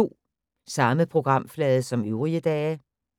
Samme programflade som øvrige dage